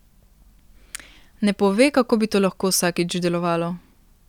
Ne pove, kako bi to lahko vsakič delovalo.